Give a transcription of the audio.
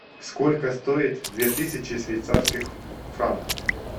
сколько стоит две тысячи швейцарских франков